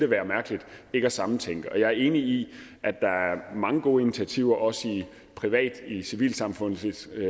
være mærkeligt ikke at sammentænke det og jeg er enig i at der er mange gode initiativer også privat i civilsamfundsregi